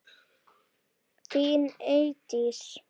Þín Eydís.